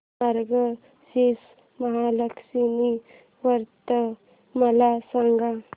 मार्गशीर्ष महालक्ष्मी व्रत मला सांग